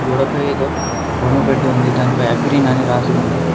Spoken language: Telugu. గోడపై ఏదో బొమ్మ పెట్టి ఉంది దానిపై అగ్రిన్ అని రాసి ఉంది.